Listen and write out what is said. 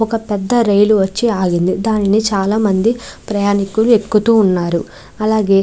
ఒక పేద రైలు వచ్చి ఆగింది దానిని చాల మంది ప్రయ్నికుల్లు ఎక్కుతునారు. అలాగే --